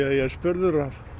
ég er spurður